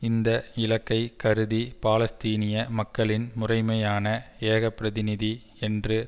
இந்த இலக்கை கருதி பாலஸ்தீனிய மக்களின் முறைமையான ஏகப்பிரதிநிதி என்று